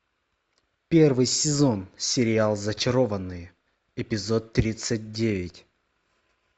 первый сезон сериал зачарованные эпизод тридцать девять